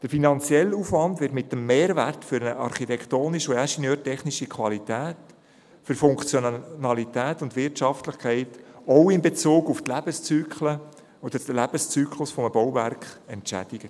Der finanzielle Aufwand wird mit dem Mehrwert für die architektonische und ingenieurtechnische Qualität, für Funktionalität und Wirtschaftlichkeit, auch in Bezug auf den Lebenszyklus eines Bauwerks, entschädigt.